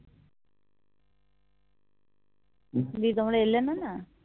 দিয়ে তোমরা এলেনা না